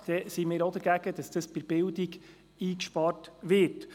Dann sind wir auch dagegen, dass bei der Bildung gespart wird.